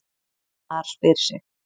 MAR SPYR SIG!